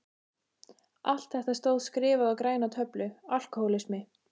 Allt þetta stóð skrifað á græna töflu: Alkohólismi.